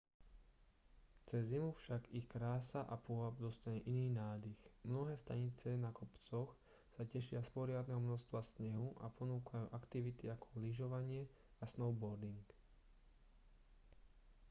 cez zimu však ich krása a pôvab dostane iný nádych mnohé stanice na kopcoch sa tešia z poriadneho množstva snehu a ponúkajú aktivity ako lyžovanie a snowboarding